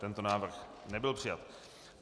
Tento návrh nebyl přijat.